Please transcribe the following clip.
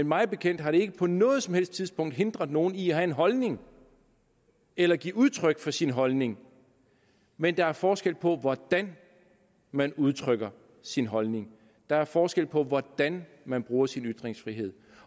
mig bekendt har det ikke på noget som helst tidspunkt hindret nogen i at have en holdning eller give udtryk for sin holdning men der er forskel på hvordan man udtrykker sin holdning der er forskel på hvordan man bruger sin ytringsfrihed